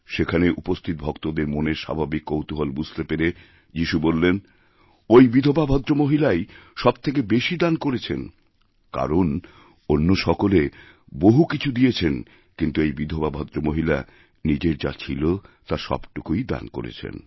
সেখানে উপস্থিত ভক্তদের মনের স্বাভাবিক কৌতূহল বুঝতে পেরে যিশু বললেন ঐ বিধবাভদ্রমহিলাই সবথেকে বেশি দান করেছেন কারণ অন্য সকলে বহু কিছু দিয়েছেন কিন্তু এইবিধবা ভদ্রমহিলা নিজের যা ছিল তার সবটুকুই দান করেছেন